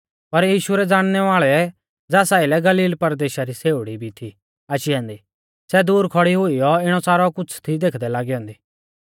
पर यीशु रै ज़ाणनै वाल़ै ज़ास आइलै गलील परदेशा री छ़ेउड़ी भी थी आशी ऐन्दी सै दूर खौड़ी हुईऔ इणौ सारौ कुछ़ थी देखदै लागी ऐन्दी